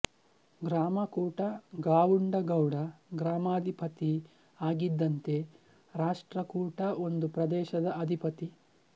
ಗ್ರಾಮ ಕೂಟ ಗಾವುಂಡ ಗೌಡ ಗ್ರಾಮಾಧಿಪತಿ ಆಗಿದ್ದಂತೆ ರಾಷ್ಟ್ರಕೂಟ ಒಂದು ಪ್ರದೇಶದ ಅಧಿಪತಿ